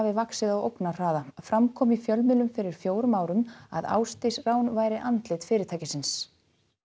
vaxið á ógnarhraða fram kom í fjölmiðlum fyrir fjórum árum að Ásdís væri andlit fyrirtækisins